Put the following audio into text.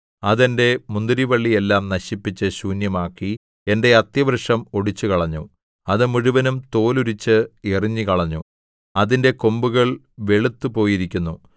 അത് എന്റെ മുന്തിരിവള്ളിയെല്ലാം നശിപ്പിച്ച് ശൂന്യമാക്കി എന്റെ അത്തിവൃക്ഷം ഒടിച്ചുകളഞ്ഞു അത് മുഴുവനും തോലുരിച്ച് എറിഞ്ഞുകളഞ്ഞു അതിന്റെ കൊമ്പുകൾ വെളുത്തുപോയിരിക്കുന്നു